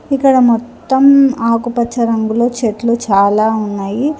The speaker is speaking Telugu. ఇక్కడ మొత్తం ఆకుపచ్చ రంగులో చెట్లు చాలా ఉన్నాయి.